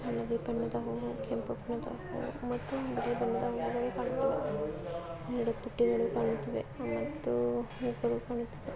ಹಳದಿ ಬಣ್ಣದ ಹೋಗಿ ಕೇಳಬಹುದು ಮತ್ತು ಮತ್ತೊಂದು ಯಾವ್ಯಾವ್ದು ನೀನು ಮಾಡುತ್ತದೆ ಮತ್ತು--